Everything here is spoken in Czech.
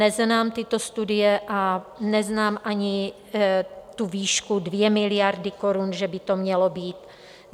Neznám tyto studie a neznám ani tu výšku 2 miliardy korun, že by to mělo být.